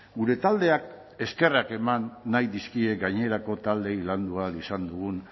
gure taldeak eskerrak eman nahi dizkie gainerako taldeei landu ahal izan dugun